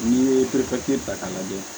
N'i ye ta k'a lajɛ